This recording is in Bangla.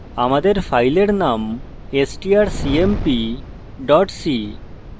আমাদের file name strcmp c